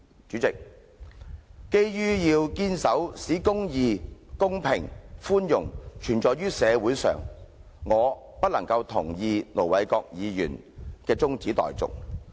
主席，基於要堅守"使公義、公平及寬容存在於社會上"的原則，我不能同意盧議員的中止待續議案。